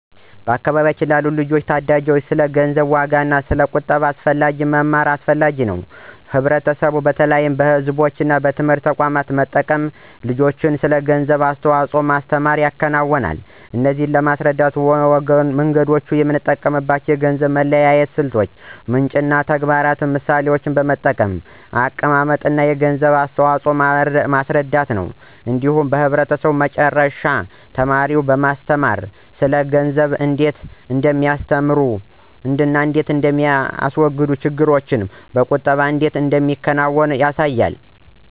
በአካባቢዎ ላሉ ልጆችና ታዳጊዎች ስለ ገንዘብ ዋጋና ስለ ቁጠባ አስፈላጊነት መማር እጅግ አስፈላጊ ነው። ህብረቱ በተለይ በቤተሰቦች እና በትምህርት ተቋማት በመጠቀም ልጆችን ስለ ገንዘብ አስተዋጽኦ ማስተምር ይከናወናል። እነዚህን ለማስረዳት መንገዶች የሚጠቀሙት የገንዘብ መለያየት ስልቶች፣ ምንጭ እና ተግባራዊ ምሳሌዎችን በመጠቀም እንደ አቀማመጥ የገንዘብ አስተዋፅኦን ማስረዳት ነው። እንዲሁም ህብረቱ በመጨረሻ ተማሪዎችን በማስተማር ስለ ገንዘብ እንዴት እንደሚያስተዋግዱ እና ቁጠባን እንዴት እንደሚያከናውኑ ያሳያል።